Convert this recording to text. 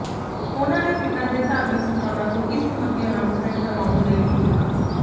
ਉਨਾਂ ਨੇ ਪਿੰਡਾਂ ਦੇ ਧਾਰਮਿਕ ਸਥਾਨਾਂ ਤੋਂ ਇਸ ਸਬੰਧੀ ਅਨਾਊਂਸਮੈਂਟ ਕਰਵਾਉਣ ਲਈ ਵੀ ਕਿਹਾ